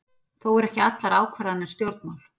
Þó eru ekki allar ákvarðanir stjórnmál.